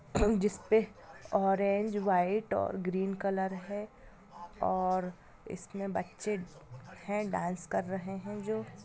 जिस पे orange white और ग्रीन कलर है और इसमें बच्चे हैं डांस कर रहे हैं जो |